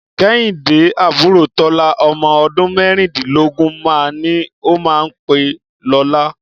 Kẹ́hìndé àbúrò Tọ́lá, ọmọ ọdún mẹ́rìndínlógún máa ní ó máa pé lọ́la.